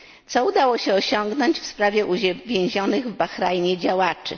Co udało się osiągnąć w sprawie więzionych w Bahrajnie działaczy?